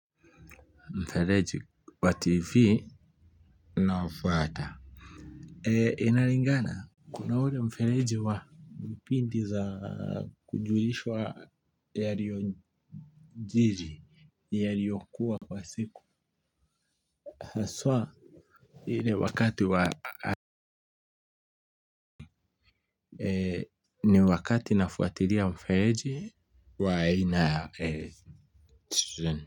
Mfereji wa tv naofuata inalingana kuna ule mfereji wa pindi za kujulishwa yaliojiri yaliyokuwa kwa siku haswa ile wakati wa ni wakati nafuatilia mfereji wa aina ya.